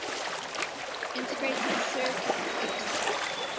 integrated circuits ics